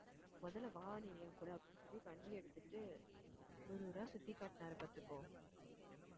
முதல்ல வா நீ கூட அப்படின்னு சொல்லி வண்டி எடுத்துட்டு ஊர் ஊரா சுத்தி காட்டுனாரு பாத்துக்கோ